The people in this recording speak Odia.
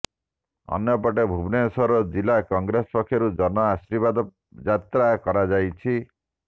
ଅନ୍ୟପଟେ ଭୁବନେଶ୍ୱର ଜିଲ୍ଲା କଂଗ୍ରେସ ପକ୍ଷରୁ ଜନ ଆଶୀର୍ବାଦ ଯାତ୍ରା କରାଯାଇଛି